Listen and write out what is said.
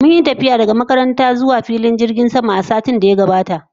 Mun yi tafiya daga makaranta zuwa filin jirgin sama a satin da ya gabata